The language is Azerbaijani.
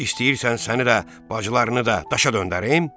İstəyirsən səni də, bacılarını da daşa döndərim?